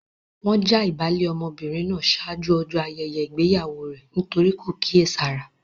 Wọ́n já ìbálé ọmọbìnrin náà ṣáájú ọjọ́ ayẹyẹ ìgbéyàwó rẹ nítorí kò kíyèsára.